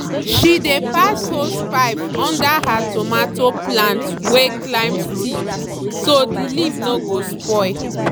she dey pass hosepipe under her tomato plant wey climb stick so the leaf no go spoil